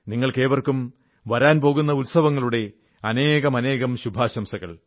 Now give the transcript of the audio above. നിങ്ങൾക്കേവർക്കും വരാൻ പോകുന്ന ഉത്സവങ്ങളുടെ അനേകാനേകം ശുഭാശംസകൾ